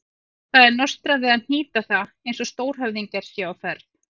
Það er nostrað við að hnýta það eins og stórhöfðingjar séu á ferð.